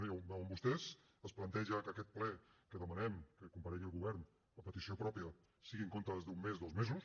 ja ho veuen vostès es planteja que aquest ple que demanem que comparegui el govern a petició pròpia sigui en comptes d’un mes dos mesos